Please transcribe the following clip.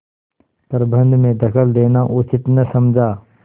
प्रबंध में दखल देना उचित न समझा